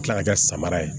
Kila ka kɛ samara ye